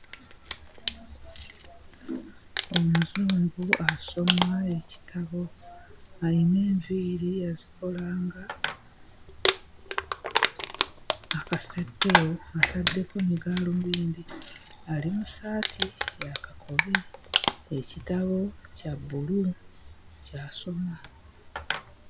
Omuzungu asoma ekitabo. Ayina enviiri yazikola nga akaseppeewo, ataddeko ne gaalubindi. Ali mu ssaati ya kakobe ekitabo kya bbulu ky'asoma.